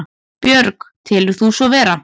Björg: Telur þú svo vera?